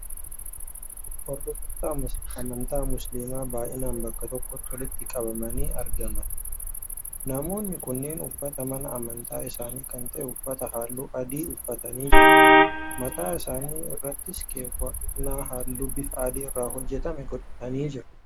Hordoftoota amantaa musiliimaa baay'inaan bakka tokkotti walitti qabamanii argaman. Namoonni kunneenis uffata mana amantaa isaanii kan ta'e uffata halluu adii uffatanii jiru. Mataa isaanii irrattis keewwannaa halluu bifa adii irraa hojjetame godhatanii jiru.